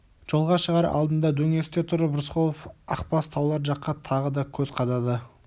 жолға шығар алдында дөңесте тұрып рысқұлов ақбас таулар жаққа тағы да көз қадады